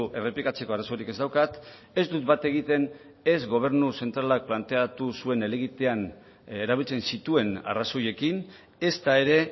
errepikatzeko arazorik ez daukat ez dut bat egiten ez gobernu zentralak planteatu zuen helegitean erabiltzen zituen arrazoiekin ezta ere